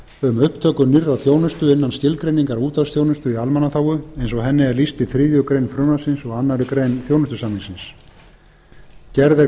um upptöku nýrrar þjónustu innan skilgreiningar útvarpsþjónustu í almannaþágu eins og henni er lýst í þriðju greinar frumvarpsins og aðra grein þjónustusamningsins gerð er